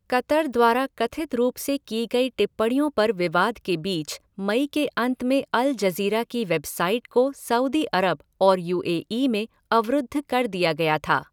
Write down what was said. Qatar द्वारा कथित रूप से की गई टिप्पणियों पर विवाद के बीच मई के अंत में अल जज़ीरा की वेबसाइट को सऊदी अरब और यू ए ई में अवरुद्ध कर दिया गया था।